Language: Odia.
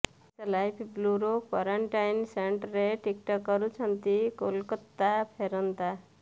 ଓଡ଼ିଶାଲାଇଭ୍ ବ୍ୟୁରୋ କ୍ୱାରେଣ୍ଟାଇନ୍ ସେଣ୍ଟରେ ଟିକଟକ୍ କରୁଛନ୍ତି କୋଲକାତା ଫେରନ୍ତା